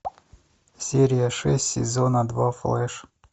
серия шесть сезона два флэш